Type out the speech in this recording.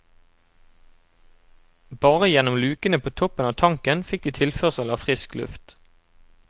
Bare gjennom lukene på toppen av tanken fikk de tilførsel av frisk luft.